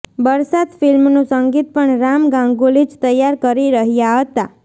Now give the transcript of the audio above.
બરસાત ફિલ્મનું સંગીત પણ રામ ગાંગુલી જ તૈયાર કરી રહ્યાં હતાં